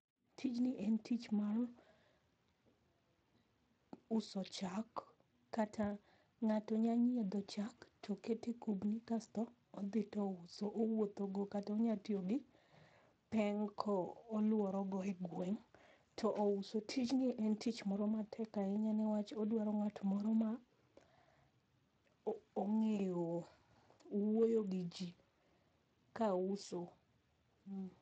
Tijni en tich mar uso chak kata ngato nya nyiedho chak toketo e kubni kaito odhi to ouso, owuotho go kata onya tiyo gi peng ka oluoro go e gweng to ouso .Tijni en tich moro mapek ahinya nikech odwaro ngat moro ma ongeyo wuoyo gi jii ka uso